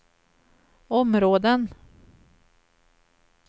områden